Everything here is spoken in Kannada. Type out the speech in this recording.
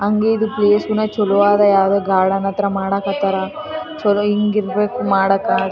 ಹಂಗೆ ಇದು ಪ್ಲೇಸ್ ನು ಚಲೋ ಅದಾ ಯಾವುದೊ ಗಾರ್ಡನ್ ಹತ್ರ ಮಾಡಾಕ್ ಹತ್ತಾರ ಚಲೋ ಹಿಂಗ್ ಇರ್ಬೇಕು ಮಾಡಕಾ .